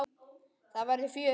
Það verður fjör.